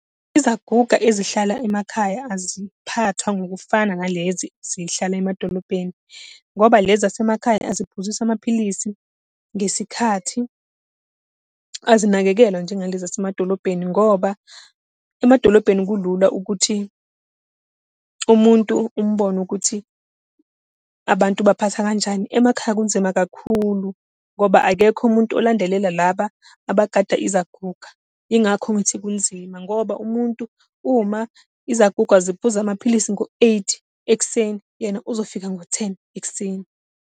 Izaguga ezihlala emakhaya aziphathwa ngokufana nalezi ezihlala emadolobheni. Ngoba lezi zasemakhaya aziphuziswa amaphilisi ngesikhathi. Azinakekelwa njengalezi zasemadolobheni, ngoba emadolobheni kulula ukuthi umuntu umbone ukuthi abantu ubaphatha kanjani, emakhaya kunzima kakhulu, ngoba akekho umuntu olandelela laba abagada izaguga. Yingakho ngithi kunzima, ngoba umuntu uma izaguga ziphuza amaphilisi ngo-eight ekuseni, yena uzofika ngo-ten ekuseni.